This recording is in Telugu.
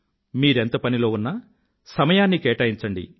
మీరెంత పనిలో ఉన్నా సమయాన్ని కేటాయించండి